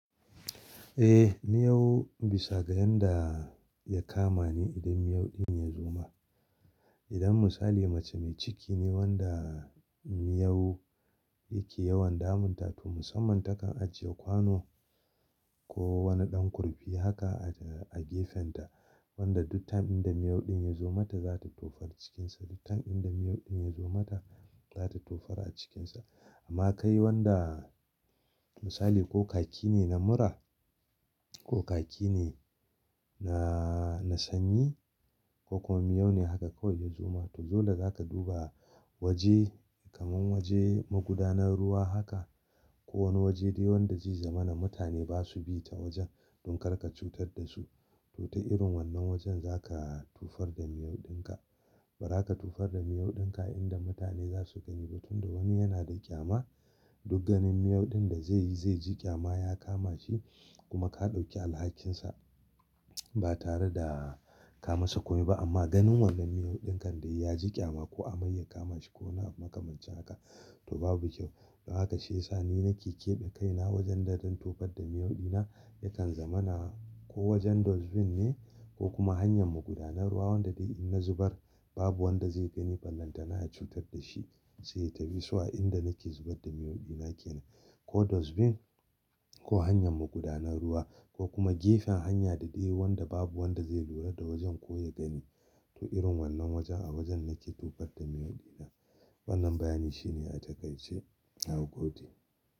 Eh, miyau bisa ga yanda ya kama ne idan miyau din ya zuba. Idan misali mace mai ciki ne wanda miyau yake yawan damun ta to musamman ta kan ajiye kwano ko wani ɗan kurfi haka a gefenta wanda duk ta'in da miyau din ya zo mata za ta tofar cikinsa. Duk ta'in da miyau din ya zo mata za ta tofar a cikinsa. Amma kai wanda misali ko kaki ne na mura ko kaki ne na sanyi ko kuma miyau ne haka kawai ya zuba to dole za ka duba waje kamar waje magudanar ruwa haka ko wani waje dai wanda zai zamana mutane ba su bi ta wajen don kar ka cutar da su. To ta irin wannan wajen za ka tufar da miyau din ka. Bari ka tufar da miyau din ka idan da mutane za su gani ba tunda wani yana da ƙyama. Duk ganin miyau din da zai yi zai ji ƙyama ya kama shi kuma ka ɗauki alhakinsa ba tare da ka masa komai ba. Amma ganin wannan miyau dinkan dai ya ji ƙyama ko amai ya kama shi ko na makamance haka to babu kyau. Haka shi yasa ni na ke keɓe kaina wajen da zan tufar da miyau dina yakan zamana ko wajen dustbin ne ko kuma hanyar magudanar ruwa wanda dai in na zubar babu wanda zai gani. Vallan ta na cutar da shi sai ta bi su a inda nake zubar da miyau dina ke nan. Ko dustbin ko hanyar magudanar ruwa ko kuma gefen hanya da dai wanda babu wanda zai lura da wajen ko ya gani. To irin wannan wajen a wajen nake tufar da miyau dina. Wannan bayani shine a takaice na godi.